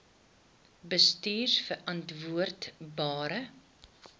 bestuurverantwoordbare